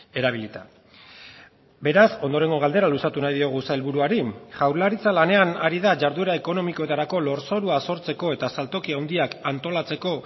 erabilita beraz ondorengo galdera luzatu nahi diogu sailburuari jaurlaritza lanean ari da jarduera ekonomikoetarako lurzorua sortzeko eta saltoki handiak antolatzeko